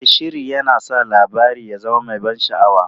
E, sihiri yana sa labarin ya zama mai ban sha'awa.